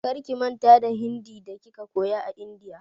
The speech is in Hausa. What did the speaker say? Karki manta da Hindi da kika koya a India!